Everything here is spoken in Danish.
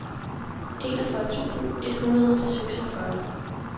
enogfyrre tusind et hundrede og seksogfyrre